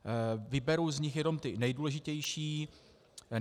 Vyberu z nich jenom ty nejdůležitější.